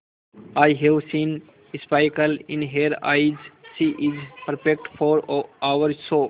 I have seen sparkle in her eyes she is perfect for our show